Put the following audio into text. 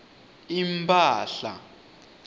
impala